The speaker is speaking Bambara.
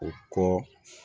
O kɔ